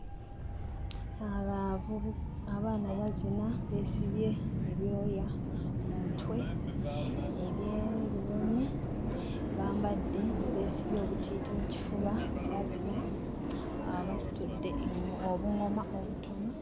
Abaavubu abaana bazina, beesibye ebyoya ku mutwe eby'ebinyonyi, bambadde beesibye obutiiti mu kifuba bazina, basitudde obuŋoma obutono.